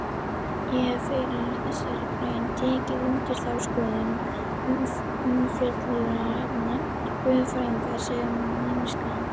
Ég hef fyrr í þessari grein tekið undir þá skoðun að umfjöllunarefni guðfræðinnar sé mennskan.